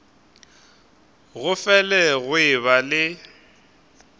go fele go eba le